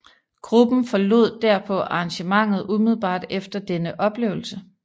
Gruppen forlod derpå arrangementet umiddelbart efter denne oplevelse